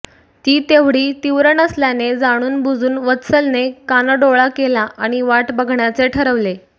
ती तेव्हढी तीव्र नसल्याने जाणून बुजून वत्सलने कानाडोळा केला आणि वाट बघण्याचे ठरवले